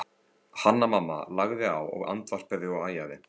Hanna-Mamma lagði á og andvarpaði og æjaði.